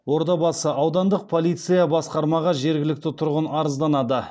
ордабасы аудандық полиция басқармаға жергілікті тұрғын арызданады